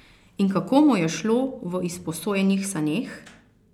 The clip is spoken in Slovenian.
In kako mu je šlo v izposojenih saneh?